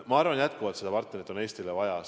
Ma arvan jätkuvalt, et seda partnerit on Eestile vaja.